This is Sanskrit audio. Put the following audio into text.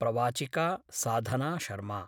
प्रवाचिका साधना शर्मा